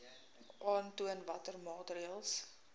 aantoon watter maatreëls